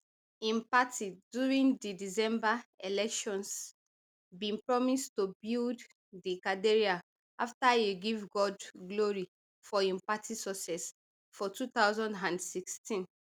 im party during di december elections bin promise to build di cathedral afta e give god glory for im party success for two thousand and sixteen